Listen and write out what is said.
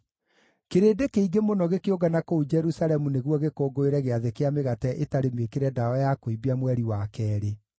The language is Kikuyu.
Kĩrĩndĩ kĩingĩ mũno gĩkĩũngana kũu Jerusalemu nĩguo gĩkũngũĩre Gĩathĩ kĩa Mĩgate ĩtarĩ Mĩĩkĩre Ndawa ya Kũimbia mweri wa keerĩ.